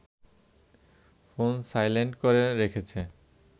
phone silent করে রেখেছে